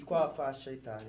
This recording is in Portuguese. E qual a faixa etária?